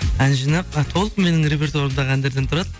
ән жинақ толық менің репертуарымдағы әндерден тұрады